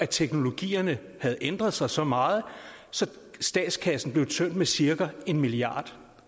teknologierne havde ændret sig så meget at statskassen blev tømt med cirka en milliard